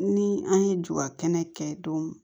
Ni an ye ju ka kɛnɛ kɛ don